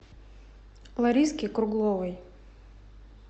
лариске кругловой